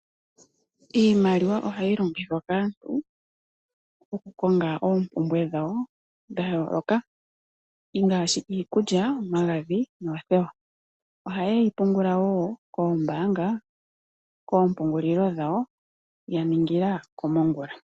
Iimaliwa ohayi longithwa kaantu oku konga ompumbwe dhawo dha yoloka ongashi omagadhi, oothewa , ohaye yi pungul kombanga kempungulilo dhawo yaningila komongula.